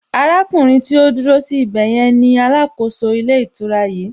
Arákùnrin tí ó dúró sí ibè yẹn ni alákòóso ilé ìtura yìí